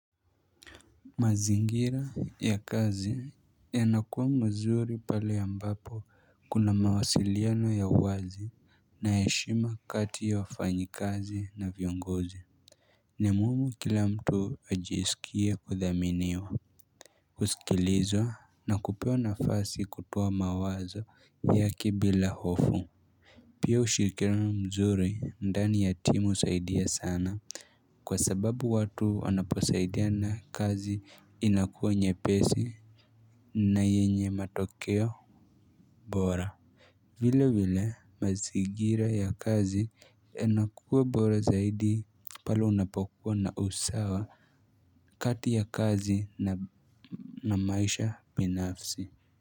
Mazingira ya kazi yanakuwa mzuri pale ambapo kuna mawasiliano ya wazi na ya heshima kati ya wafanyi kazi na viongozi ni muhimu kila mtu ajisikie kuthaminiwa kusikilizwa na kupewa nafasi kutoa mawazo yake bila hofu Pia ushirikiano mzuri ndani ya timu husaidia sana Kwa sababu watu wanaposaidiana kazi inakuwa nyepesi na yenye matokeo bora vile vile mazingira ya kazi inakuwa bora zaidi pale unapokuwa na usawa kati ya kazi na maisha binafsi.